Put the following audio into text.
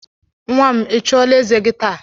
Nwam, Ị chụola eze gi taa?